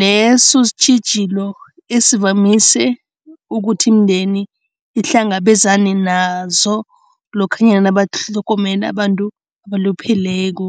leso sitjhijilo esivamise ukuthi imindeni ihlangabezane nazo lokhanyana nabatlhogomela abantu abalupheleko.